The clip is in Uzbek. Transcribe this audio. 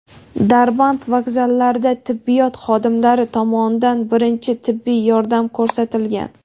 Darband vokzallaridan tibbiyot xodimlari tomonidan birinchi tibbiy yordam ko‘rsatilgan.